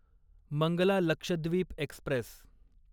Mangala Lakshadweep Express